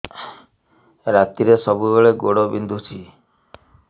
ରାତିରେ ସବୁବେଳେ ଗୋଡ ବିନ୍ଧୁଛି